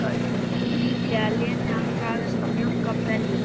Líklega léti hann dragast að mjólka beljurnar.